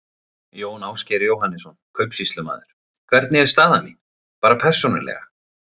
Jón Ásgeir Jóhannesson, kaupsýslumaður: Hvernig er staða mín. bara persónulega?